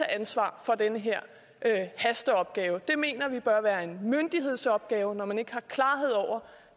ansvar for den her hasteopgave det mener vi bør være en myndighedsopgave når man ikke har klarhed over